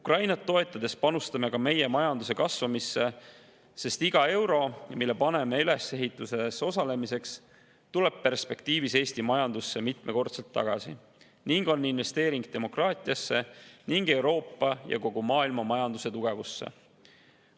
Ukrainat toetades panustame ka oma majanduse kasvamisse, sest iga euro, mida ülesehituses osalemiseks, tuleb pikas perspektiivis Eesti majandusse mitmekordselt tagasi ning on investeering demokraatiasse ning Euroopa ja kogu maailma majanduse tugevusse.